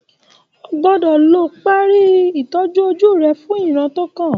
O gbọ́dọ̀ lọ parí ìtọ́jú ojú rẹ fún ìran tó kàn